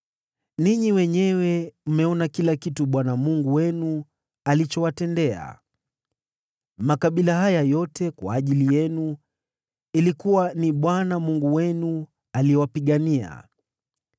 Ninyi wenyewe mmeona kila kitu Bwana Mungu wenu, alichowatendea mataifa haya yote kwa ajili yenu. Ilikuwa ni Bwana Mungu wenu aliyewapigania.